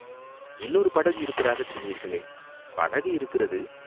"இன்னொரு படகு இருப்பதாகச் சொன்னீர்களே?" "படகு இருக்கிறது.